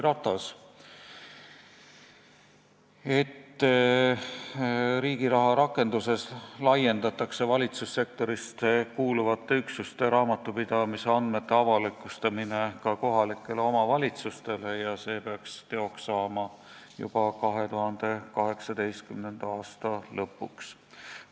Ta ütles, et valitsussektorisse kuuluvate üksuste raamatupidamisandmete avalikustamine Riigiraha rakenduses laiendatakse ka kohalikele omavalitsustele ja see peaks teoks saama juba 2018. aasta lõpuks.